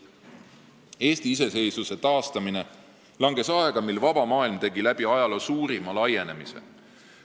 Eesti iseseisvuse taastamine langes aega, mil vaba maailm tegi läbi ajaloo suurima laienemise.